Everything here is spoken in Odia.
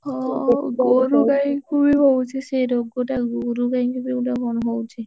ହଁ ଗୋରୁ ଗାଇଂକୁବି ହଉଛି ସେ ରୋଗଟା, ଗୋରୁ ଗାଇଂକୁବି କଣ ଗୋଟେ ହୁଉଛି।